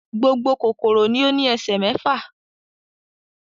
Gbogbo kòkòrò ni ó ní ẹsẹ̀ mẹ́fà.